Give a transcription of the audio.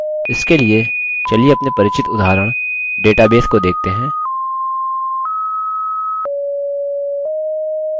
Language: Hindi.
इसके लिए चलिए अपने परिचित उदाहरण database को देखते हैं